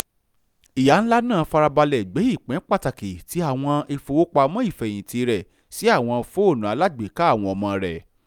ìyá-nlá náà fárabalẹ̀ gbé ipin pàtàkì ti àwọn ìfowopamọ́ ìfẹ́hìntì rẹ̀ sí àwọn fóònù alágbèéká àwọn ọmọ rẹ